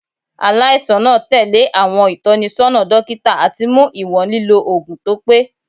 Alaisan naa tẹle awọn itọnisọna dokita ati mu iwọn lilo oogun to pe. "